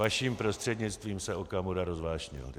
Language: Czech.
Vaším prostřednictvím se Okamura rozvášnil.